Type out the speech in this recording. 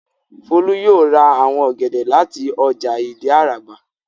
Folú yóò ra àwọn ọ̀gẹ̀dẹ̀ láti ọjà Ìdí-Àràbà.